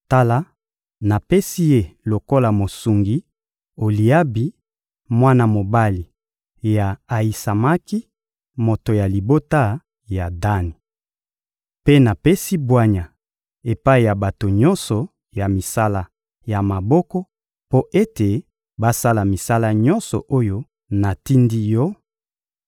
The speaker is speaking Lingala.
Tala, napesi ye lokola mosungi Oliabi, mwana mobali ya Ayisamaki, moto ya libota ya Dani. Mpe napesi bwanya epai ya bato nyonso ya misala ya maboko mpo ete basala misala nyonso oyo natindi yo: